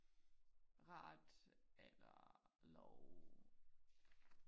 ret eller love